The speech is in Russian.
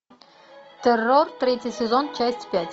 террор третий сезон часть пять